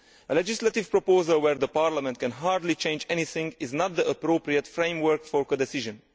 A legislative proposal where Parliament can hardly change anything is not the appropriate framework for codecision.